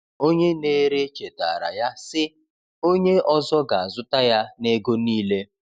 Onye na-ere chetaara ya, sị: “Onye ọzọ ga-azụta ya n’ego niile.”